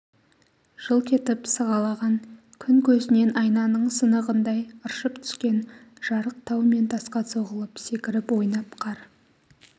жылт етіп сығалаған күн көзінен айнаның сынығындай ыршып түскен жарық тау мен тасқа соғылып секіріп ойнап қар